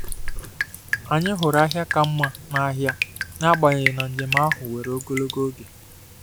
Anyị hụrụ ahịa ka mma n’ahịa, n’agbanyeghị na njem ahụ were ogologo oge.